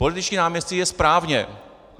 Političtí náměstci je správně.